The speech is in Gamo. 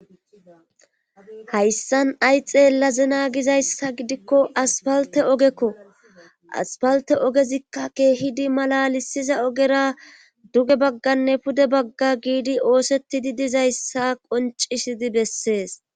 Hayssan ayi xeellazena giza issa gidikko aspalte ogekko. Aspalte ogezikka keehidi malalisiza ogera duge bagganne pude bagga giidi oosettidi diza issa qoncisidi bessees.